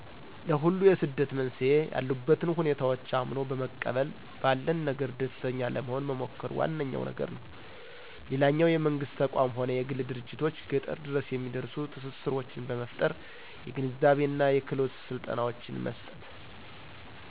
ለሁሉ የስደት መንስኤ ያሉበትን ሁኔታዎች አምኖ በመቀበል ባለን ነገር ደስተኛ ለመሆን መሞከር ዋነኛዉ ነገር ነው። ሌላኛው የመንግስት ተቋም ሆነ የግል ድርጅቶች ገጠር ድረስ የሚደርሱ ትስስሮችን በመፍጠር የግንዛቤና የክህሎት ስልጠናዎችን መስጠት።